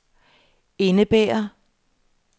indebærer